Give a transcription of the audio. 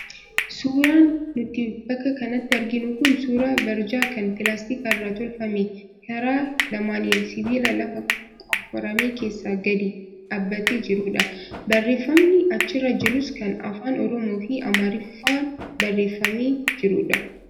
Suuraan nuti bakka kanatti arginu kun suuraa barjaa kan pilaastika irraa tolfame karaa lamaaniin sibiila lafa qofforame keessa gadi dhaabbatee jirudha. Barreeffamni achirra jirus kan afaan oromoo fi amaariffaan barreeffamee jirudha.